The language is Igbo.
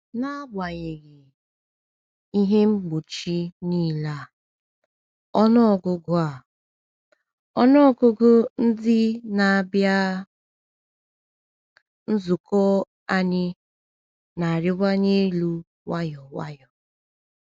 N’agbanyeghị ihe mgbochi niile a, ọnụ ọgụgụ a, ọnụ ọgụgụ ndị na-abịa um nzukọ um anyị na-arịwanye elu nwayọ nwayọ.